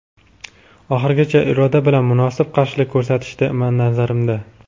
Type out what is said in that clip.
Oxirigacha iroda bilan munosib qarshilik ko‘rsatishdi, nazarimda.